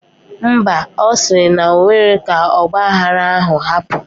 Mba, osiri na onwero ka ogba aghara ahu hapu